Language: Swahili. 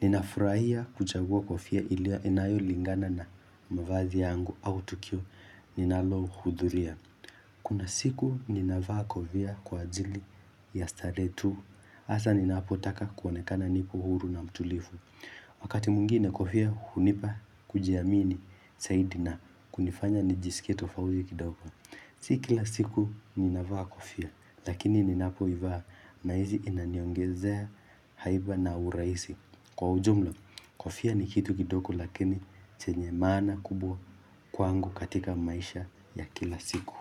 Ninafurahia kuchagua kofia inayolingana na mavazi yangu au tukio ninalohudhuria Kuna siku nina vaa kofia kwa ajili ya starehe tu hasa ninapotaka kuonekana nipo huru na mtulivu Wakati mwingine kofia hunipa kujiamini zaidi na kunifanya nijisikie tofauti kidogo Si kila siku nina vaa kofia lakini ninapo ivaa nahisi inaniongezea haiba na urahis. Kwa ujumla, kofia ni kitu kidogo lakini chenye maana kubwa kwangu katika maisha ya kila siku.